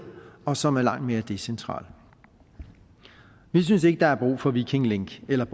og som er langt mere decentralt vi synes ikke der er brug for viking link eller